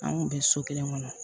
An kun bɛ so kelen kɔnɔ